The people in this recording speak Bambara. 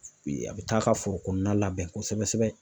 a bi taa ka foro kɔnɔna labɛn kosɛbɛ kosɛbɛ.